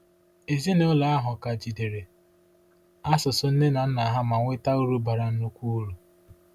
Ezinụlọ ahụ ka jidere asụsụ nne na nna ha ma nweta uru bara nnukwu uru.